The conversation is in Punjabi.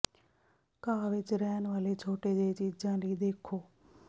ਘਾਹ ਵਿੱਚ ਰਹਿਣ ਵਾਲੇ ਛੋਟੇ ਜਿਹੇ ਚੀਜਾਂ ਲਈ ਦੇਖੋ